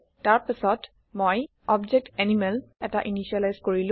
তাৰ পাছত মই অবজেক্ট এনিমেল এটা ইনিচিয়েলাইজ কৰিলো